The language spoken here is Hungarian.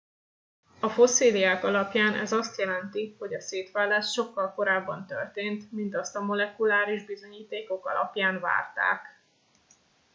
a fosszíliák alapján ez azt jelenti hogy a szétválás sokkal korábban történt mint azt a molekuláris bizonyítékok alapján várták